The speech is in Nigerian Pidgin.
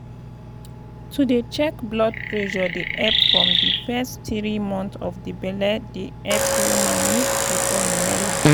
to dey check blood pressure dey epp from di fess tiri months of di belle dey epp woman make she born wella.